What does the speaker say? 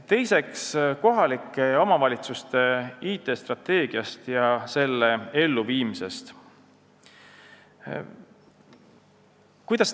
Teiseks, kohalike omavalitsuste IT-strateegia ja selle elluviimine.